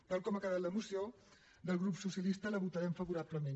tal com ha quedat la moció del grup socialista la votarem favorablement